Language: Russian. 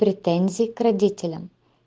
претензии к родителям